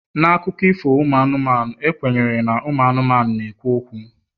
na akụkọ ifo anụmanụ, e kwenyere na anụmanụ na-ekwu